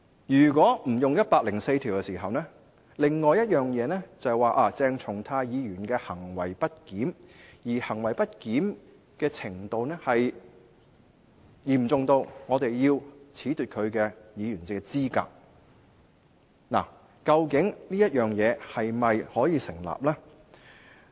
如果不引用《基本法》第一百零四條，另一種情況是鄭松泰議員行為不檢，而其行為不檢的程度嚴重至我們要褫奪其議員資格，究竟這做法是否成立呢？